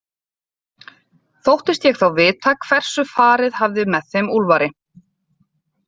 Þóttist ég þá vita hversu farið hafði með þeim Úlfari.